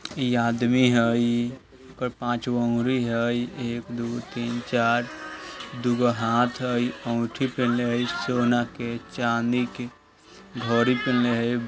इ आदमी हई | ओकर पाँच गो उंगरी हई | एक दु तीन चार | दुगो हाथ हई अंगूठी पहनले हई सोना के चांदी के घड़ी पहनले हई ।